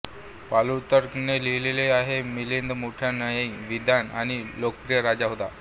प्लूतार्क ने लिहिले आहे की मिलिंद मोठा न्यायी विद्वान आणि लोकप्रिय राजा होता